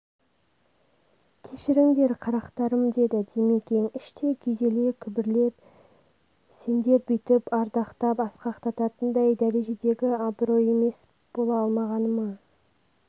кешіріңдер қарақтарым деді димекең іштей күйзеле күбірлеп сендер бүйтіп ардақтап асқақтататындай дәрежедегі абырой иеіс бола алмағаныма